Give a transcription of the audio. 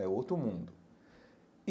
É outro mundo.